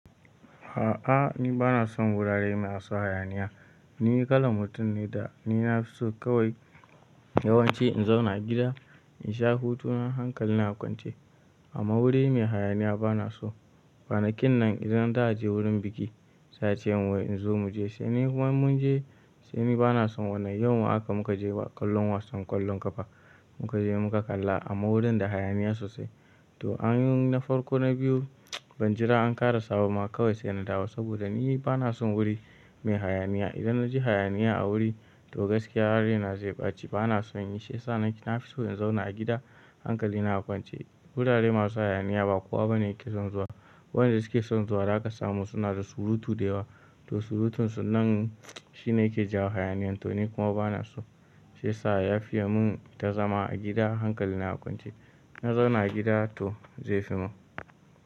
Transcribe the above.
A'a ni bana son wurare masu hayaniya. Ni kalan mutum ne da ni na fi so kawai yawanci in zauna a gida in sha hutu na hankali na kwance. Amma wuri mai hayaniya bana so. Kwanakin nan idan za a je wurin biki, za a ce min wai in zo mu je sai ni kuma inmun je sai ni bana son wani. Yauma haka muka je ƙwallon wasan ƙwallon ƙafa muka je muka kalla amma wurin da hayaniya sosai. To an yi na farko na biyu ban jira an ƙarasa bama kawai sai na dawo saboda ni bana son wuri mai hayaniya. Idan na ji hayaniya a wuri to gaskiya zaina zai ɓace bana son yi. Shiyasa nafi so in zauna a gida hankali a kwance. Wurare masu hayaniya ba kowa bane yake son zuwa. Waɗanda suke son zuwa, zaka samu suna da surutu da yawa. To surutunsu nan shine yake jawo hayaniyan to ni kuma bana so. Shiyasa ya fiya mun inta zama a gida hankali na kwance. Na zauna a gida to zai fi mun.